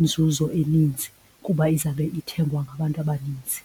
inzuzo eninzi kuba izawube ithengwa ngabantu abaninzi.